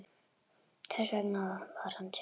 Þess vegna var hann tekinn.